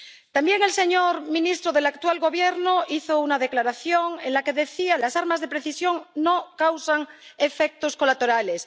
También el señor ministro del actual Gobierno hizo una declaración en la que decía que las armas de precisión no causan efectos colaterales.